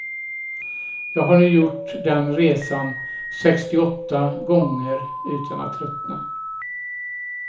Jag har nu gjort den resan sextioåtta gånger utan att tröttna.